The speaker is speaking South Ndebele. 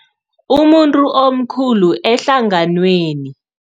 Umuntu omkhulu ehlanganweni.